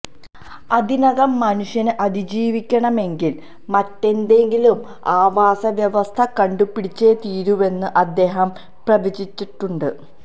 അതിനകം മനുഷ്യന് അതിജീവിക്കണമെങ്കിൽ മറ്റേതെങ്കിലും ആവാസവ്യവസ്ഥ കണ്ടുപിടിച്ചേ തീരൂവെന്ന് അദ്ദേഹം പ്രവചിച്ചിട്ടുണ്ട്